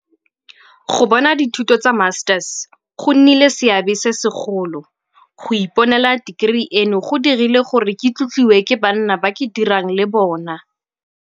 Go bona dithuto tsa Masters go nnile le seabe se segolo. Go iponela tekerii eno go dirile gore ke tlotliwe ke banna ba ke dirang le bona.